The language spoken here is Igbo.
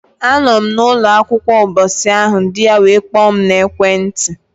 A nọ m na ụnọ akwukwa mbọsị ahụ, di ya were kpoo m na ekwe nti.